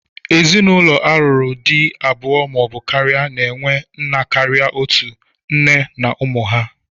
Ezinụlọ a lụrụ di abụọ ma ọ bụ karịa na-enwe nna karịa otú, nne na ụmụ ha.